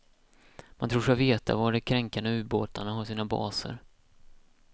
Man tror sig veta var de kränkande ubåtarna har sina baser.